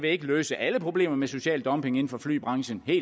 ikke løse alle problemer med social dumping inden for flybranchen